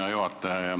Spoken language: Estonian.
Hea juhataja!